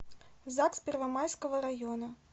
загс первомайского района